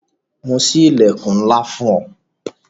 Mo sí ilẹkun ńlá fún un